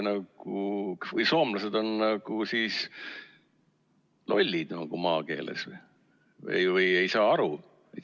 Kas soomlased on lollid, maakeeles öeldes, ega saa asjast aru?